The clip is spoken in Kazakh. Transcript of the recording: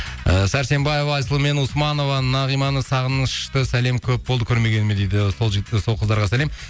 і сәрсенбаева айсұлу мен османова нағиманы сағынышты сәлем көп болды көрмегеніме дейді сол сол қыздарға сәлем